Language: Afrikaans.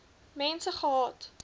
mense gehad